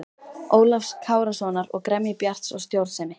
Ólafs Kárasonar og gremju Bjarts og stjórnsemi.